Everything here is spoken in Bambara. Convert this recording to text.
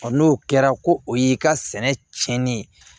n'o kɛra ko o y'i ka sɛnɛ tiɲɛnen ye